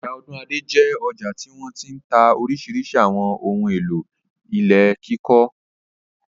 Ọjà Ọ̀dúnadé jẹ́ ọjà tí wọ́n ti ń ta oríṣiríṣi àwọn ohun-èlò ilé kíkọ́.